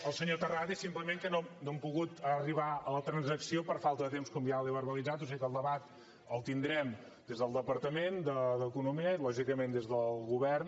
al senyor terrades simplement que no hem pogut arribar a la transacció per falta de temps com ja li he verbalitzat o sigui que el debat el tindrem des del departament d’economia i lògicament des del govern